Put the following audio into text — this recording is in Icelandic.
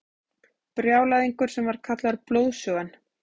Brjálæðingur sem var kallaður Blóðsugan.